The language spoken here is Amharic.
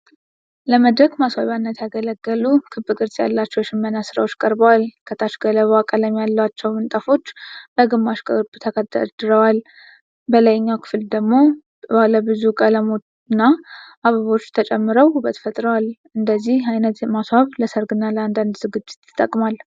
ለመድረክ ማስዋቢያነት ያገለገሉ ክብ ቅርጽ ያላቸው የሽመና ሥራዎች ቀርበዋል። ከታች ገለባ ቀለም ያላቸው ምንጣፎች በግማሽ ክብ ተደርድረዋል። በላይኛው ክፍል ላይ ደግሞ ባለብዙ ቀለምና አበቦች ተጨምረው ውበት ፈጥረዋል። እንደዚህ አይነት ማስዋብ ለሰርግ እና አንዳንድ ዝግጅት ይጠቅማል።